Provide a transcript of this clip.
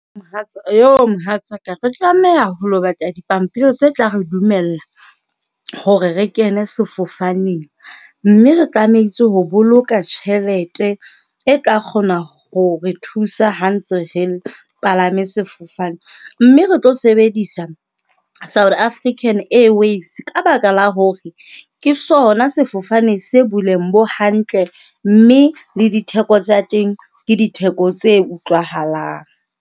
Mohatsa mohatsa ka re tlameha ho lo ho batla dipampiri tse tla re dumella hore re kene sefofaneng, mme re tlametse ho boloka tjhelete e tla kgona ho re thusa ha ntse re palame sefofane. Mme re tlo sebedisa South African Airways ka baka la hore ke sona sefofane se boleng bo hantle mme le ditheko tsa teng ke ditheko tse utlwahalang.